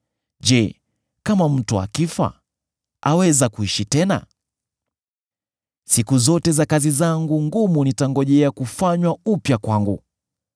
Je, kama mtu akifa, aweza kuishi tena? Siku zote za kazi zangu ngumu nitangojea kufanywa upya kwangu.